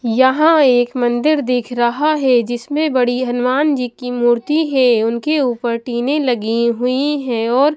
यहां एक मंदिर दिख रहा है जिसमें बड़ी हनुमान जी की मूर्ति है उनके ऊपर टीने लगी हुई है और--